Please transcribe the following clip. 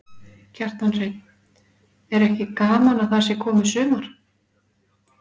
Kjartan Hreinn: Er ekki gaman að það sé komið sumar?